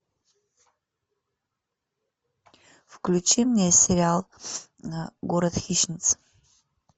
включи мне сериал город хищниц